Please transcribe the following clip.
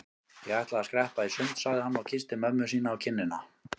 Ég ætla að skreppa í sund sagði hann og kyssti mömmu sína á kinnina.